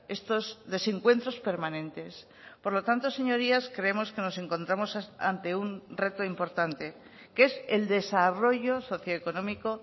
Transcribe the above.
estos desencuentros permanentes por lo tanto señorías creemos que nos encontramos ante un reto importante que es el desarrollo socio económico